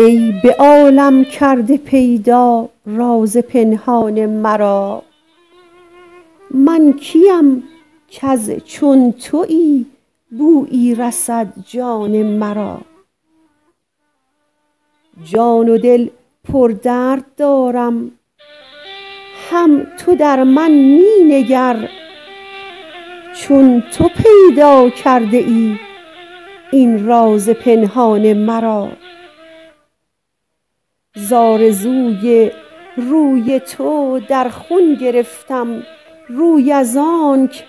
ای به عالم کرده پیدا راز پنهان مرا من کیم کز چون تویی بویی رسد جان مرا جان و دل پر درد دارم هم تو در من می نگر چون تو پیدا کرده ای این راز پنهان مرا ز آرزوی روی تو در خون گرفتم روی از آنک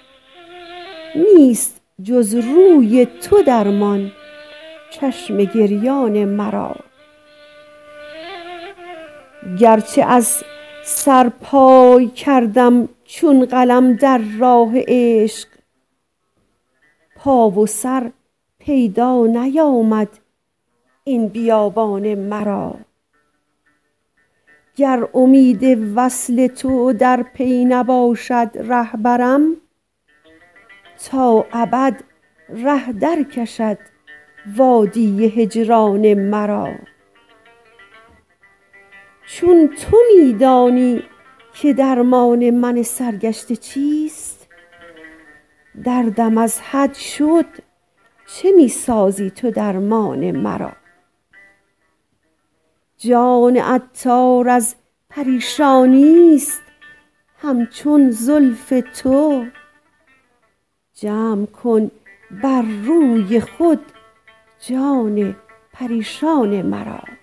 نیست جز روی تو درمان چشم گریان مرا گرچه از سرپای کردم چون قلم در راه عشق پا و سر پیدا نیامد این بیابان مرا گر امید وصل تو در پی نباشد رهبرم تا ابد ره درکشد وادی هجران مرا چون تو می دانی که درمان من سرگشته چیست دردم از حد شد چه می سازی تو درمان مرا جان عطار از پریشانی است همچون زلف تو جمع کن بر روی خود جان پریشان مرا